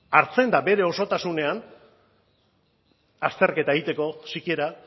hartzen da bere osotasunean azterketa egiteko sikiera